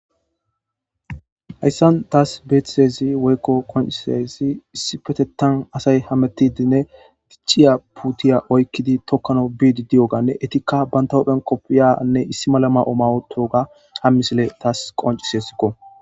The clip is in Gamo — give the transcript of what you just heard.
hayssan taas beethitezi woykko koncisezi issipetetan asay hametidinne gicciya puutiya oykkidi tokkano biidi diyoganne etikka bantahophen koppiyanne issi malama7o mawotoga ham misile taas qoncis esikko